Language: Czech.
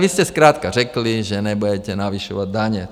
Vy jste zkrátka řekli, že nebudete navyšovat daně.